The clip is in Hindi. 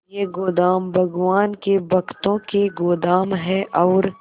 ये गोदाम भगवान के भक्तों के गोदाम है और